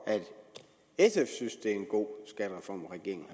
sf synes det er en god skattereform regeringen